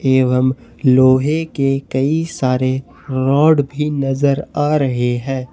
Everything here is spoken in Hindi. एवं लोहे के कई सारे रॉड भी नजर आ रहे हैं।